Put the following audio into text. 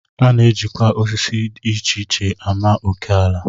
A na-ejikwa osisi dị icheiche ama oké ala